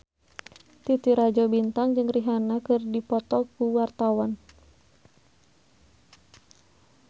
Titi Rajo Bintang jeung Rihanna keur dipoto ku wartawan